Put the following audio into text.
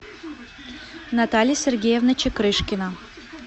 наталья сергеевна чекрышкина